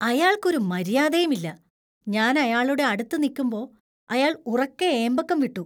അയാൾക്ക് ഒരു മര്യാദയും ഇല്ല. ഞാൻ അയാളുടെ അടുത്ത് നിക്കുമ്പോ അയാൾ ഉറക്കെ ഏമ്പക്കം വിട്ടു .